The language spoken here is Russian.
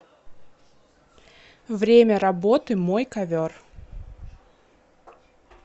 время работы мой ковер